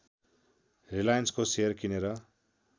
रिलायन्सको सेयर किनेर